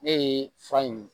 Ne ye fura in